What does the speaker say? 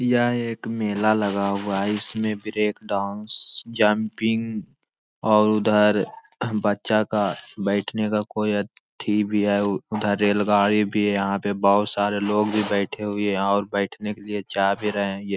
यह एक मेला लगा हुआ है इसमें ब्रेक डांस जंपिंग और उधर बच्चा का बैठने का कोई अति भी है उधर रेलगाड़ी भी यहां पर बहुत सारे लोग भी बैठे हुए हैं और बैठने के लिए जा भी रहें है ये।